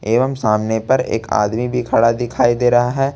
एवं सामने पर एक आदमी भी खड़ा दिखाई दे रहा है।